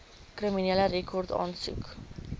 kriminele rekord aansoek